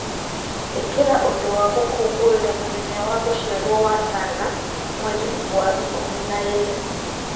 ĩkĩra ũndũ wa gũkũngũĩra mũthenya wa gũciarwo wa Sarah Mweri wa ikũmi na ĩĩrĩ